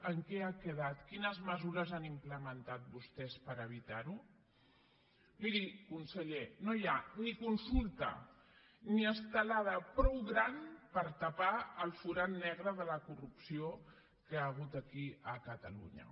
en què ha quedat quines mesures han implementat vostès per evitar ho miri conseller no hi ha ni consulta ni estelada prou gran per tapar el forat negre de la corrupció que hi ha hagut aquí a catalunya